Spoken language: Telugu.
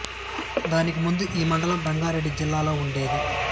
దానికి ముందు ఈ మండలం రంగారెడ్డి జిల్లా లో ఉండేది